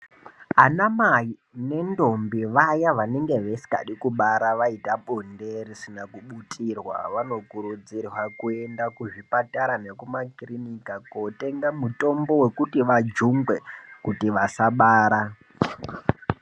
Ana mai nedhombi vaya vanenge vasingade kubara vaita bonde risina kubutirwa vanokurudzirwa vanokurudzirwa kuenda kuzvipatara nekumakiriniki kootenga mutombo wekuti vajungwe kuti vasabara.